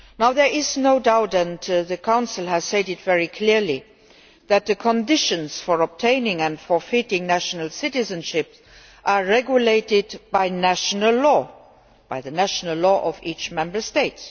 There is no doubt and the Council has said this very clearly that the conditions for obtaining and forfeiting national citizenship are regulated by the national law of each Member State.